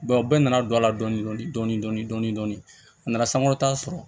bɛɛ nana don a la dɔni dɔni dɔni dɔni dɔni dɔni a nana sankɔrɔta sɔrɔ